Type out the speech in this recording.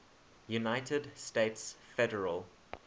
united states federal